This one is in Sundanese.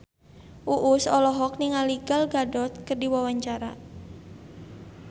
Uus olohok ningali Gal Gadot keur diwawancara